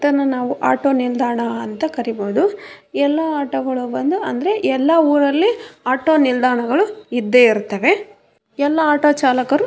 ಇದನ್ನ ನಾವು ಆಟೊ ನಿಲ್ದಾಣ ಅಂ ತ ಕರೀಬಹುದು ಎಲ್ಲ ಆಟೊ ಗಳು ಬಂದು ಅಂದ್ರೆ ಎಲ್ಲ ಊರಲ್ಲಿ ಆಟೋ ನಿಲ್ದಾಣಗಳು ಇದ್ದೇ ಇರುತ್ತವೆ ಎಲ್ಲಾ ಆಟೊ ಚಾಲಕರು --